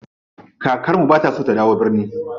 Kakar mu bata so da dawo birni.